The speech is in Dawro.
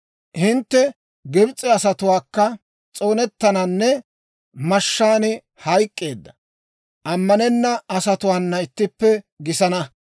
«Hintte Gibs'e asatuukka s'oonettananne mashshaan hayk'k'eedda, ammanenna asatuwaana ittippe gisana.